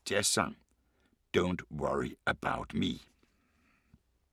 23:20: Bogtyven * 01:25: Lust, Caution * 04:00: Dagens Jazzsang: Don't Worry About Me *